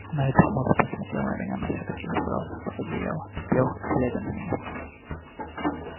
найд хмуро посмотрел на меня но всё-таки забрался под одеяло лёг глядя на меня